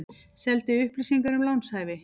Seldi upplýsingar um lánshæfi